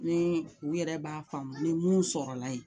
Ni u yɛrɛ b'a faamu ni mun sɔrɔ la yen,